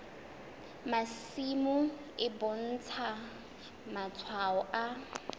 masimo e bontsha matshwao a